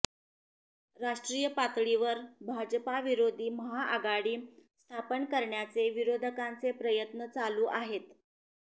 राष्ट्रीय पातळीवर भाजपाविरोधी महाआघाडी स्थापन करण्याचे विरोधकांचे प्रयत्न चालू आहेत